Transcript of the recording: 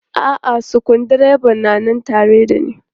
A'a sukuru dreban na nan tare da ne.